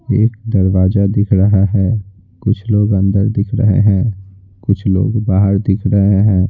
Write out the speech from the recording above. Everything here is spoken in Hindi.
एक दरवाजा दिख रहा है कुछ लोग अंदर दिख रहे हैं कुछ लोग बाहर दिख रहे हैं।